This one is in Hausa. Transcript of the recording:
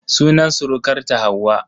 Sunan surukarta Hauwa.